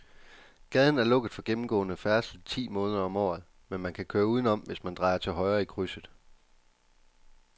Gaden er lukket for gennemgående færdsel ti måneder om året, men man kan køre udenom, hvis man drejer til højre i krydset.